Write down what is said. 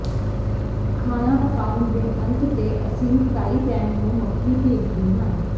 ਖਾਣਾ ਪਕਾਉਣ ਦੇ ਅੰਤ ਤੇ ਅਸੀਂ ਫਰਾਈ ਪੈਨ ਨੂੰ ਮੱਕੀ ਭੇਜਦੇ ਹਾਂ